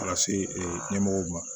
Ka se ee ɲɛmɔgɔw ma